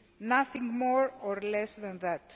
Nothing more or less than that.